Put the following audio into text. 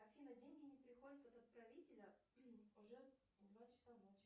афина деньги не приходят от отправителя уже два часа ночи